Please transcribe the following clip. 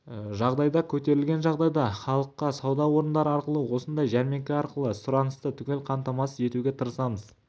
жағдайда көтерілген жағдайда халыққа сауда орындары арқылы осындай жәрмеңке арқылы сұранысты түгел қамтамасыз етуге тырысамыз